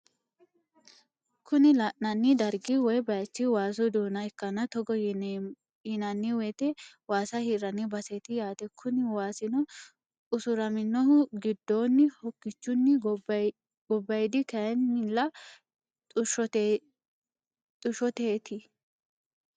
Kuni lananni darigi woyi bayichi wassu duna ikana togo yinaniwoyite wassa hirani baseti yatte. Kuni wassino usuraminohuno gidonni hokichuni gobayidi kayinila tushshoteniti